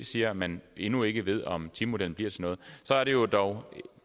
siger at man endnu ikke ved om timemodellen bliver til noget og så er det jo